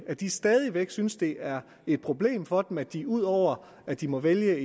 at de stadig væk synes at det er et problem for dem at de ud over at de må vælge